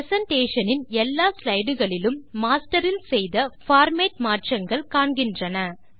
presentation இன் எல்லா slide களிலும் மாஸ்டர் இல் செய்த பார்மேட் மாற்றங்கள் காண்கின்றன